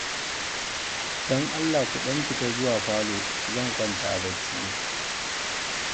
Don Allah ku ɗan fita zuwa falo, zan kwanta bacci